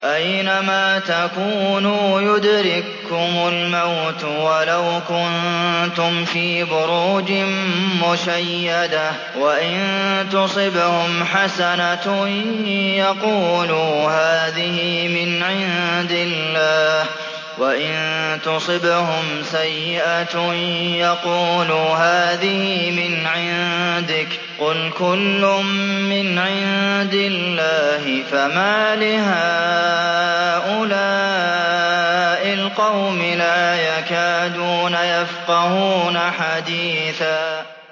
أَيْنَمَا تَكُونُوا يُدْرِككُّمُ الْمَوْتُ وَلَوْ كُنتُمْ فِي بُرُوجٍ مُّشَيَّدَةٍ ۗ وَإِن تُصِبْهُمْ حَسَنَةٌ يَقُولُوا هَٰذِهِ مِنْ عِندِ اللَّهِ ۖ وَإِن تُصِبْهُمْ سَيِّئَةٌ يَقُولُوا هَٰذِهِ مِنْ عِندِكَ ۚ قُلْ كُلٌّ مِّنْ عِندِ اللَّهِ ۖ فَمَالِ هَٰؤُلَاءِ الْقَوْمِ لَا يَكَادُونَ يَفْقَهُونَ حَدِيثًا